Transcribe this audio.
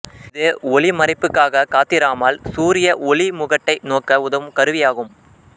இது ஒளிமரைப்புக்காக காத்திராமல் சூரிய ஒளிமுகட்டை நோக்க உதவும் கருவி ஆகும்